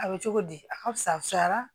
A bɛ cogo di a ka fusayara